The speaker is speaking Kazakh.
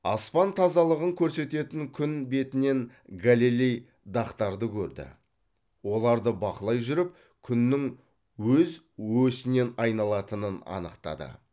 аспан тазалығын көрсететін күн бетінен галилей дақтарды көрді оларды бақылай жүріп күннің өз осінен айналатынын анықтады